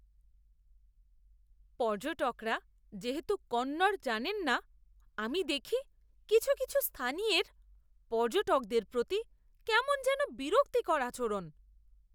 পর্যটকরা যেহেতু কন্নড় জানেন না, আমি দেখি কিছু কিছু স্থানীয়ের পর্যটকদের প্রতি কেমন যেন বিরক্তিকর আচরণ।